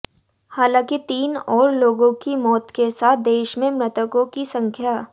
हालांकि तीन और लोगों की मौत के साथ देश में मृतकों की संख्या